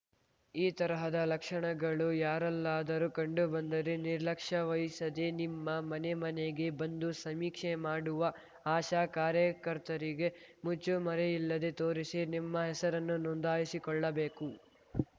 ಈ ತರಹದ ಲಕ್ಷಣಗಳು ಯಾರಲ್ಲಾದರೂ ಕಂಡು ಬಂದರೆ ನಿರ್ಲಕ್ಷ್ಯ ವಹಿಸದೇ ನಿಮ್ಮ ಮನೆ ಮನೆಗೆ ಬಂದು ಸಮೀಕ್ಷೆ ಮಾಡುವ ಆಶಾ ಕಾರ್ಯಕರ್ತರಿಗೆ ಮುಚ್ಚು ಮರೆಯಿಲ್ಲದೆ ತೋರಿಸಿ ನಿಮ್ಮ ಹೆಸರನ್ನು ನೋಂದಾಯಿಸಿಕೊಳ್ಳಬೇಕು